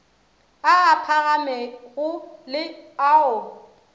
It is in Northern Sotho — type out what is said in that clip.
a a phagamego le ao